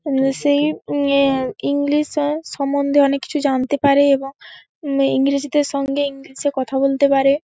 উম সেই উম অ্যা ইংলিশ এ সম্বন্ধে অনেক কিছু জানতে পারে এবং ইংরেজদের সঙ্গে ইংলিশ -এ কথা বলতে পারে ।